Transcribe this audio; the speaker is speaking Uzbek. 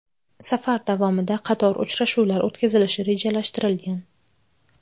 Safar davomida qator uchrashuvlar o‘tkazilishi rejalashtirilgan .